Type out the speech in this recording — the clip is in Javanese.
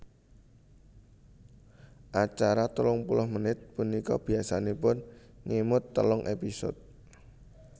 Acara telung puluh menit punika biasanipun ngemot telung épisode